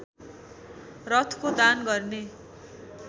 रथको दान गर्ने